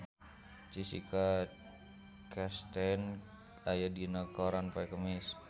Jessica Chastain aya dina koran poe Kemis